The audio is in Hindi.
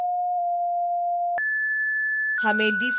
फिर transform tool पर क्लिक करें